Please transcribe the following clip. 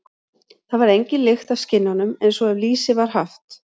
Þá varð engin lykt af skinnunum, eins og ef lýsi var haft.